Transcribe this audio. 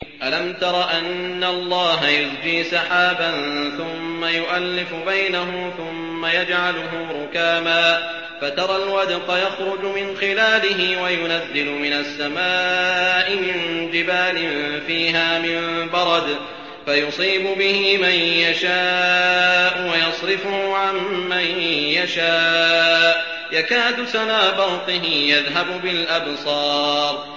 أَلَمْ تَرَ أَنَّ اللَّهَ يُزْجِي سَحَابًا ثُمَّ يُؤَلِّفُ بَيْنَهُ ثُمَّ يَجْعَلُهُ رُكَامًا فَتَرَى الْوَدْقَ يَخْرُجُ مِنْ خِلَالِهِ وَيُنَزِّلُ مِنَ السَّمَاءِ مِن جِبَالٍ فِيهَا مِن بَرَدٍ فَيُصِيبُ بِهِ مَن يَشَاءُ وَيَصْرِفُهُ عَن مَّن يَشَاءُ ۖ يَكَادُ سَنَا بَرْقِهِ يَذْهَبُ بِالْأَبْصَارِ